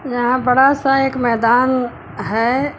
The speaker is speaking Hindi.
यहां बड़ा सा एक मैदान है।